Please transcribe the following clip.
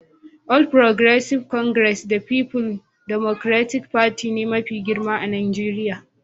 All Progressive Congress da People Democratic Party ne mafi girma a Najeriya